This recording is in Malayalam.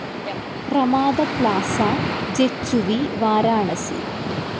Ramada Plaza J H V Varanasi